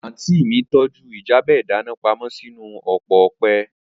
Aunty mi tọju ljabe idana pamo sinu opo ọpẹ